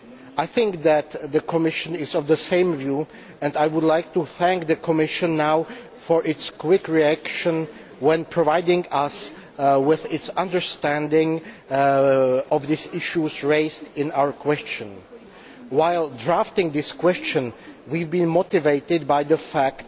I think that the Commission is of the same view, and I would like to thank the Commission for its quick reaction when providing us with its understanding of the issues raised in our question. While drafting this question, we have been motivated by the fact